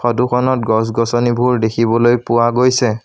ফটোখনত গছ-গছনিবোৰ দেখিবলৈ পোৱা গৈছে।